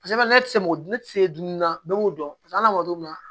Paseke ne tɛ se mɔgɔ tɛ se dumuni na bɛɛ b'o dɔn paseke hali n'a ma don min na